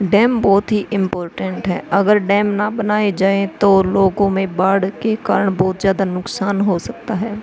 Dam बोहोत ही important है। अगर डैम ना बनाये जाये तो लोगो में बाढ़ के कारण बोहोत ज्यादा नुकसान हो सकता है।